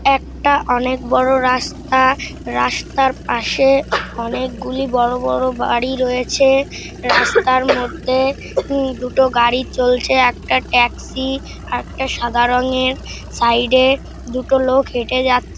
একটা-আ অনেক বড় রাস্তা। রাস্তার পাশে অনেকগুলি বড় বড় বাড়ি রয়েছে রাস্তার মধ্যে ঊম দুটো গাড়ি চলছে একটা ট্যাক্সি একটা সাদা রংয়ের সাইড -এ দুটো লোক হেটে যাচ্ছ--